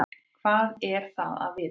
Hvað er það að vita?